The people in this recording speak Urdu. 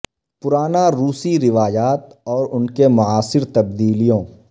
پرانا روسی روایات اور ان کے معاصر تبدیلیوں